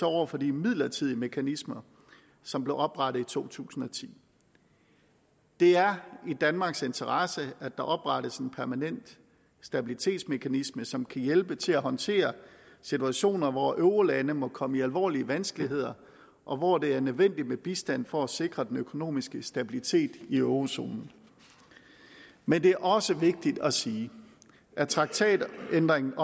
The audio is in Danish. over for de midlertidige mekanismer som blev oprettet i to tusind og ti det er i danmarks interesse at der oprettes en permanent stabilitetsmekanisme som kan hjælpe til at håndtere situationer hvor eurolandene måtte komme i alvorlige vanskeligheder og hvor det er nødvendigt med bistand for at sikre den økonomiske stabilitet i eurozonen men det er også vigtigt at sige at traktatændringen